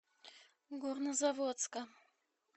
горнозаводска